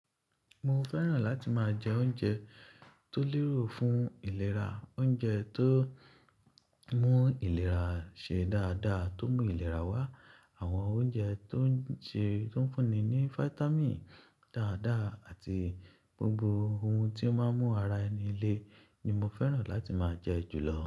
Mo fẹ́ràn láti máa jẹ oúnjẹ tó lérò fún ìlera, oúnjẹ tó mú ìlera ṣe dáadáa, tó mú ìlera wá. Àwọn oúnjẹ tó ń ṣe, tó ń fúnni ní fáítámì dáadáa àti gbogbo ohun tí ó máa mú ara ẹni lé ni mo fẹ́ràn láti máa jẹ jùlọ.